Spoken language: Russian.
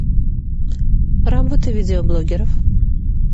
работы видеоблогеров